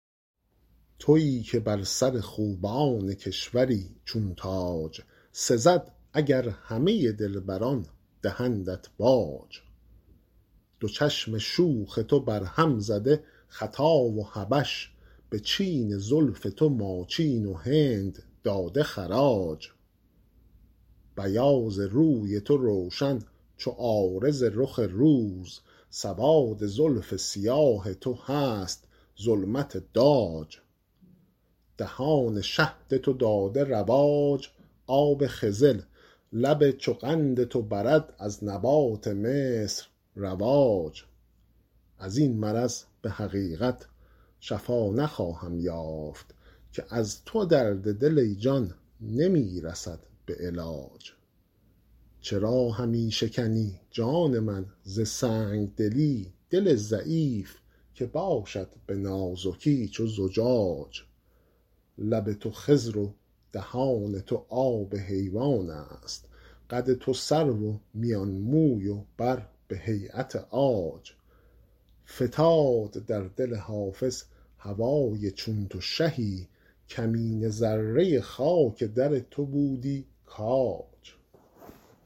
تویی که بر سر خوبان کشوری چون تاج سزد اگر همه دلبران دهندت باج دو چشم شوخ تو برهم زده خطا و حبش به چین زلف تو ماچین و هند داده خراج بیاض روی تو روشن چو عارض رخ روز سواد زلف سیاه تو هست ظلمت داج دهان شهد تو داده رواج آب خضر لب چو قند تو برد از نبات مصر رواج از این مرض به حقیقت شفا نخواهم یافت که از تو درد دل ای جان نمی رسد به علاج چرا همی شکنی جان من ز سنگ دلی دل ضعیف که باشد به نازکی چو زجاج لب تو خضر و دهان تو آب حیوان است قد تو سرو و میان موی و بر به هییت عاج فتاد در دل حافظ هوای چون تو شهی کمینه ذره خاک در تو بودی کاج